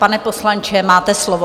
Pane poslanče, máte slovo.